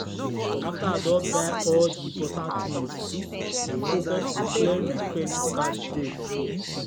after i don buy all the important things i focus on clearing my credit card debt.